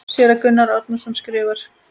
Séra Gunnar Árnason skrifar